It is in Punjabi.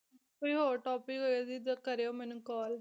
ਕੋਈ ਹੋਰ topic ਹੋਵੇ ਦੀਦੀ ਕਰਿਓ ਮੈਨੂੰ call